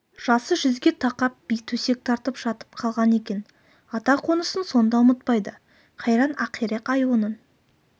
жасы жүзге тақап би төсек тартып жатып қалған екен ата қонысын сонда ұмытпайды қайран ақирек-ай оның